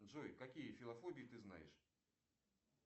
джой какие филофобии ты знаешь